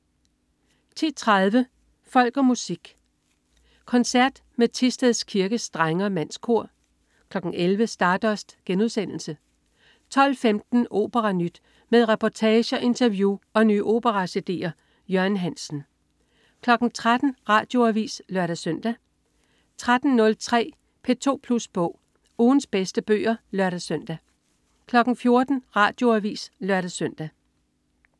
10.30 Folk og Musik. Koncert med Thisted Kirkes Drenge-Mandskor 11.00 Stardust* 12.15 OperaNyt. Med reportager, interview og nye opera-cd'er. Jørgen Hansen 13.00 Radioavis (lør-søn) 13.03 P2 Plus Bog. Ugens bedste bøger (lør-søn) 14.00 Radioavis (lør-søn)